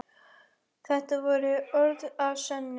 Þetta voru orð að sönnu.